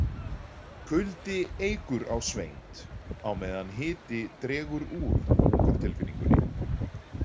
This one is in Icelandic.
Kuldi eykur á svengd á meðan hiti dregur úr hungurtilfinningunni.